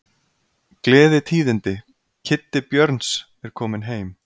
Gleðitíðindi. Kiddi Björns kominn heim!